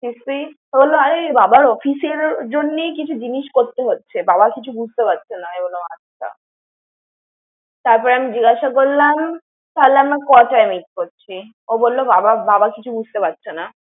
বাবার office এর জন্য কিছু জিনিস করতে হচ্ছে। বাবা কিছু বুঝতে পারছেনা। আমি বললাম আচ্ছা। তারপরে আমি জিজ্ঞাসা করলাম, থালে আমরা কটায় meet করছি? ও বলল বাবা কিছু বুজতে পারছেনা।